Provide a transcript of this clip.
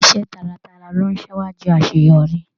Iṣẹ taratara lo n síwájú àṣeyọrí.